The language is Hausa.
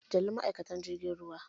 Jalli ma'aikatar jirgin ruwa.